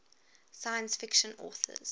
science fiction authors